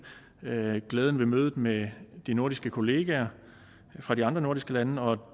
glæden ved mødet med de nordiske kollegaer fra de andre nordiske lande og